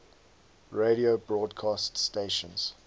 radio broadcast stations